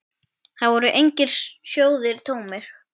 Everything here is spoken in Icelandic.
Þar voru engir sjóðir tómir.